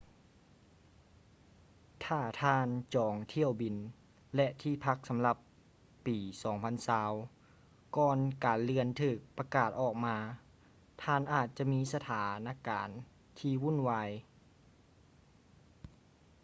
ຖ້າທ່ານຈອງຖ້ຽວບິນ ແລະ ທີ່ພັກສຳລັບປີ 2020 ກ່ອນການເລື່ອນຖືກປະກາດອອກມາ ທ່ານອາດຈະມີສະຖານະການທີ່ວຸ່ນວາຍ